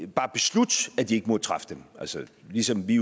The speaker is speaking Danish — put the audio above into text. bare beslutte at de ikke må træffe dem ligesom vi